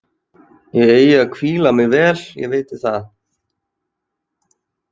Ég eigi að hvíla mig vel, ég viti það.